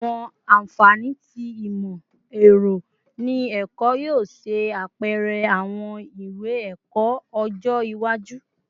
Awọn anfani ti imọ-ẹrọ ni ẹkọ yoo ṣe apẹrẹ awọn iwe-ẹkọ ọjọ iwaju